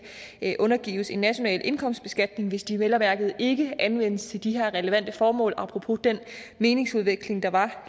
undergives en national indkomstbeskatning hvis de vel at mærke ikke anvendes til de her relevante formål apropos den meningsudveksling der var